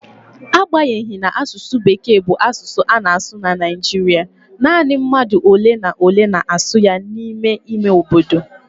N'agbanyeghị na asụsụ Bekee bụ asụsụ a na-asụ na Naịjirịa, nanị mmadụ ole na ole na-asụ ya n'ime ime obodo.